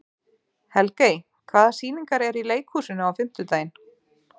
Helgey, hvaða sýningar eru í leikhúsinu á fimmtudaginn?